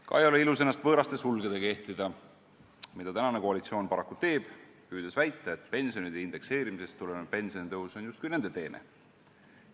Ka ei ole ilus ennast võõraste sulgedega ehtida, mida tänane koalitsioon paraku teeb, püüdes väita, et pensionide indekseerimisest tulenev pensionitõus on justkui nende teene.